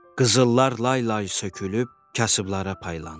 Qızıllar lay-lay sökülüb kasıblara paylandı.